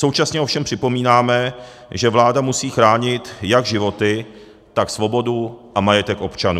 Současně ovšem připomínáme, že vláda musí chránit jak životy, tak svobodu a majetek občanů.